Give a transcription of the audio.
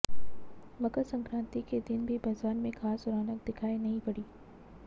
मकरसंक्रान्ति के दिन भी बाजार में खास रौनक दिखायी नही पड़ी